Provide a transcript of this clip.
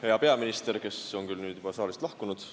Hea peaminister, kes on nüüd küll juba saalist lahkunud!